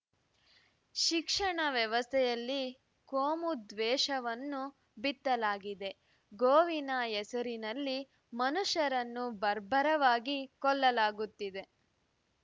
ಶಿಕ್ಷಣ ವ್ಯವಸ್ಥೆಯಲ್ಲಿ ಕೋಮು ದ್ವೇಷವನ್ನು ಬಿತ್ತಲಾಗಿದೆ ಗೋವಿನ ಹೆಸರಿನಲ್ಲಿ ಮನುಷ್ಯರನ್ನು ಬರ್ಬರವಾಗಿ ಕೊಲ್ಲಲಾಗುತ್ತಿದೆ